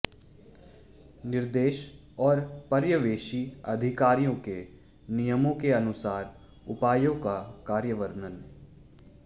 निर्देश और पर्यवेक्षी अधिकारियों के नियमों के अनुसार उपायों का कार्यान्वयन